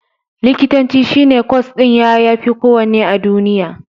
Likitanci shi ne kwas ɗin ya yafi kowanne a duniya.